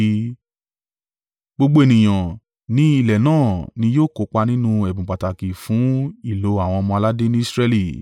Gbogbo ènìyàn ni ilẹ̀ náà ni yóò kópa nínú ẹ̀bùn pàtàkì fún ìlò àwọn ọmọ-aládé ni Israẹli.